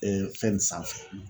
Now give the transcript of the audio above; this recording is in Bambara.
fɛn nin sanfɛ